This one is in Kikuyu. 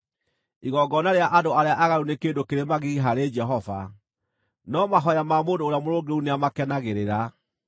Igongona rĩa andũ arĩa aaganu nĩ kĩndũ kĩrĩ magigi harĩ Jehova, no mahooya ma mũndũ ũrĩa mũrũngĩrĩru nĩamakenagĩrĩra.